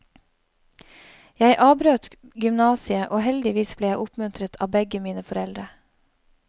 Jeg avbrøt gymasiet og heldigvis ble jeg oppmuntret av begge mine foreldre.